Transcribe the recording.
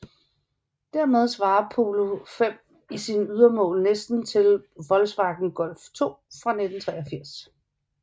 Dermed svarer Polo V i sine ydermål næsten til Volkswagen Golf II fra 1983